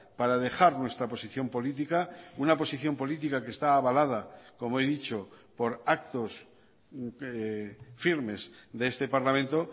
para dejar nuestra posición política una posición política que está avalada como he dicho por actos firmes de este parlamento